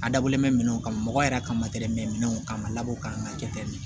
A dabɔlen bɛ minɛnw kan mɔgɔ yɛrɛ ka mɛnan ka labɔ ka kɛ tɛmɛn